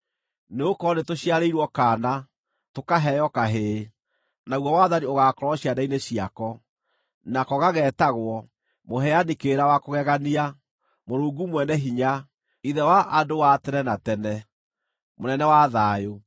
Nĩgũkorwo nĩtũciarĩirwo kaana, tũkaheo kahĩĩ, naguo wathani ũgaakorwo ciande-inĩ ciako. Nako gageetagwo Mũheani-Kĩrĩra-wa-Kũgegania, Mũrungu Mwene-Hinya, Ithe-wa-Andũ-wa-Tene-na-Tene, Mũnene-wa-Thayũ.